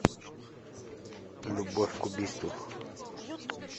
любовь к убийству